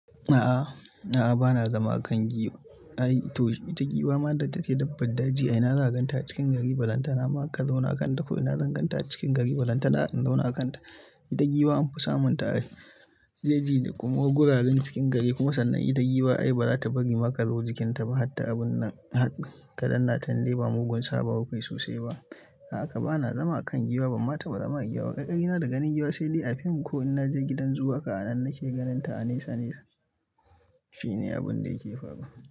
A'a bana zama akan giwa. Ai to ita giwa ma da take dabbar daji a ina zaka ganta a cikin gari, ballantana ma ka zauna akanta ko ina zan gan ta a cikin gari ballantana za in zauna a kan ta. Ita giwa an fi samun ta ai a jeji da kuma guraren cikin gari. Kuma sannan ita giwa ai ba za ta bari ma kazo jikinta ba harta abun nan har. Ka dannata indai ba mugun saba wa kukayi sosai ba. Haka bana zama akan giwa, banma taba zama a giwa ba, ƙarƙarina da ganin giwa sai dai a fim ko in naje gidan zoo, haka anan nake ganin ta a nesa nesa. Shine abun da yake faruwa.